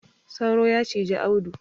Sauro ya ciji Audu.